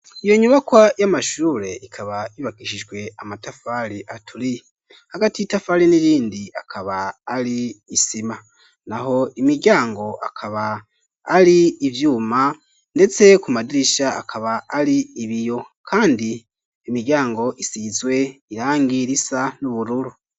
Iyo nyubakwa y'amashure ikaba ibakishijwe amatafari aturiye. Hagati y'itafari afari n'irindi akaba ari isima naho imiryango akaba ari ivyuma ndetse ku madirisha akaba ari ibiyo .Kandi imiryango isizwe irangi risa n'ubururu.